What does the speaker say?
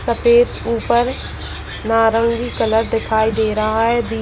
सफेद ऊपर नारंगी कलर दिखाई दे रहा है बीच --